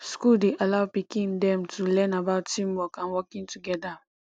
school dey allow pikin dem to learn about team work and working together